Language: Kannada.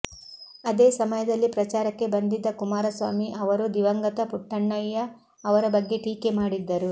ಅದೇ ಸಮಯದಲ್ಲಿ ಪ್ರಚಾರಕ್ಕೆ ಬಂದಿದ್ದ ಕುಮಾರಸ್ವಾಮಿ ಅವರು ದಿವಂಗತ ಪುಟ್ಟಣ್ಣಯ್ಯ ಅವರ ಬಗ್ಗೆ ಟೀಕೆ ಮಾಡಿದ್ದರು